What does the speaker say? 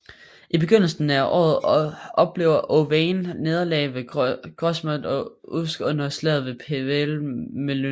I begyndelsen af året oplevede Owain nederlag ved Grosmont og Usk under slaget ved Pwll Melyn